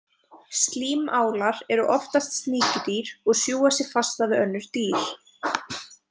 Slímálar eru oftast sníkjudýr og sjúga sig fasta við önnur dýr.